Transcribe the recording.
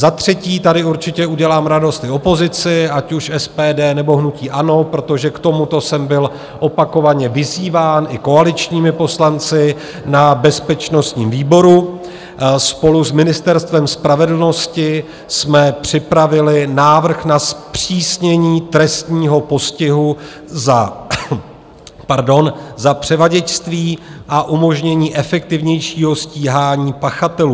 Za třetí - tady určitě udělám radost i opozici, ať už SPD, nebo hnutí ANO, protože k tomuto jsem byl opakovaně vyzýván i koaličními poslanci na bezpečnostním výboru - spolu s Ministerstvem spravedlnosti jsme připravili návrh na zpřísnění trestního postihu za převaděčství a umožnění efektivnějšího stíhání pachatelů.